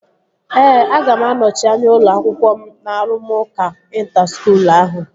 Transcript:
Ee, aga m anọchi anya ụlọ akwụkwọ na arụmụka ịnta skuul ahụ